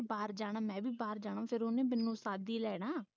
ਬਾਹਰ ਜਾਣਾ ਮੈਂ ਵੀ ਬਾਹਰ ਜਾਣਾ ਤੇ ਫਿਰ ਉਹਨੇ ਮੈਨੂੰ ਸਾਦ ਇ ਲੈਣਾ